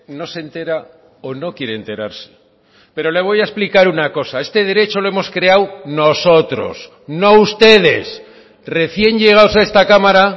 no se entera o no quiere enterarse pero le voy a explicar una cosa este derecho lo hemos creado nosotros no ustedes recién llegados a esta cámara